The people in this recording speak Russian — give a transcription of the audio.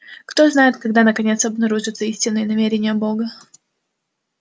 кто знает когда наконец обнаружатся истинные намерения бога